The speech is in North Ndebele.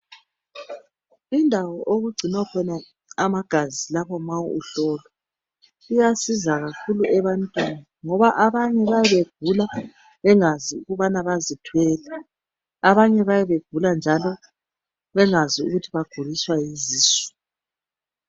Indawo okugcinwa khona amagazi lapho ma uhlolwa kuyasiza kakhulu ebantwini ngoba abanye bayabe begula bengazi ukubana bazithwele. Abanye bayabe begula njalo bengakwazi ukuthi baguliswa yizisu.